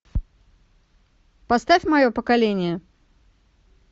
поставь мое поколение